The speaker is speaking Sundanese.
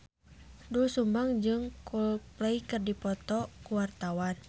Doel Sumbang jeung Coldplay keur dipoto ku wartawan